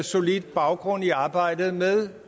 solid baggrund i arbejdet med